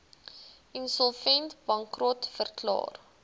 insolvent bankrot verklaar